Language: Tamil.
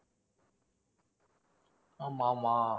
ஆமா ஆமா.